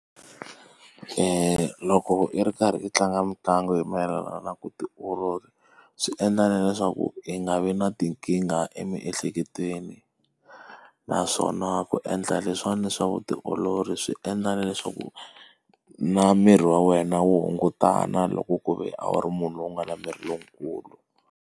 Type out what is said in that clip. Loko i ri karhi i tlanga mitlangu hi mayelana na ku tiolola, swi endla na leswaku i nga vi na tinkingha emiehleketweni. Naswona ku endla leswiwani swa vutiolori swi endla na leswaku, na miri wa wena wu hungutana loko ku ve a wu ri munhu loyi a nga na miri lowukulu.